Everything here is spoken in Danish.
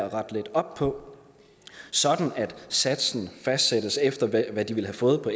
at rette lidt op på sådan at satsen fastsættes efter hvad de ville have fået på